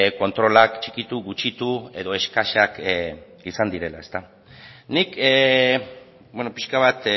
kontrolak txikitu gutxitu edo eskasak izan direla nik pixka bat